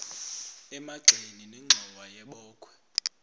emagxeni nenxhowa yebokhwe